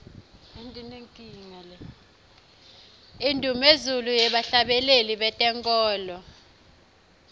indumezulu yebahhlabeleli betenkholo